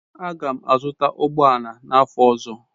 Aga m azụta ụgbọ ala n'afọ ọzọ.